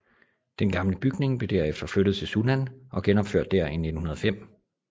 Den gamle bygning blev derefter flyttet til Sunnan og genopført der i 1905